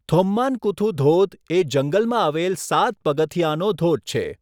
થોમ્માનકુથુ ધોધ એ જંગલમાં આવેલ સાત પગથિયાંનો ધોધ છે.